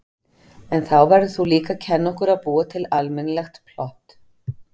En þá verður þú líka að kenna okkur að búa til almennilegt plott.